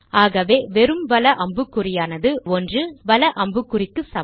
ஆகவே வெறும் வல அம்புக்குறியானது 1 வல அம்புக்குறிக்கு சமம்